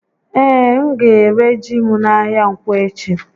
Ee, m ga-éré ji m n'ahịa Ǹkwọ echi